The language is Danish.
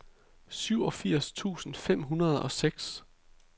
syvogfirs tusind fem hundrede og seks